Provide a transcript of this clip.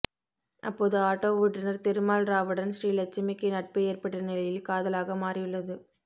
அப்போது ஆட்டோ ஓட்டுனர் திருமால் ராவுடன் ஸ்ரீலட்சுமிக்கு நட்பு ஏற்பட்ட நிலையில் காதலாக மாறியுள்ளது